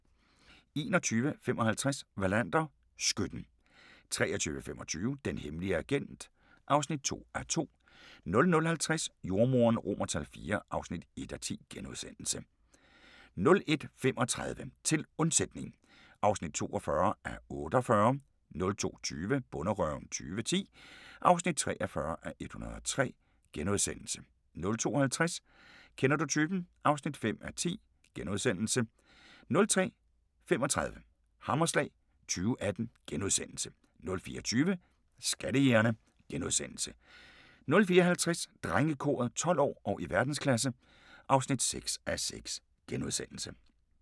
21:55: Wallander: Skytten 23:25: Den hemmelige agent (2:2) 00:50: Jordemoderen IV (1:10)* 01:35: Til undsætning (42:48) 02:20: Bonderøven 2010 (43:103)* 02:50: Kender du typen? (5:10)* 03:35: Hammerslag 2018 * 04:20: Skattejægerne * 04:50: Drengekoret – 12 år og i verdensklasse (6:6)*